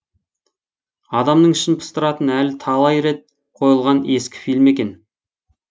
адамның ішін пыстыратын әрі талай рет қойылған ескі фильм екен